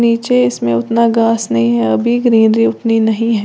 नीचे इसमें उतना गास नहीं है अभी ग्रीनरी उतनी नही है।